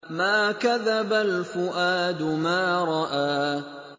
مَا كَذَبَ الْفُؤَادُ مَا رَأَىٰ